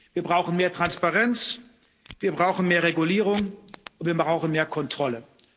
Wir brauchen mehr Transparenz, wir brauchen mehr Regulierung und wir brauchen mehr Kontrolle.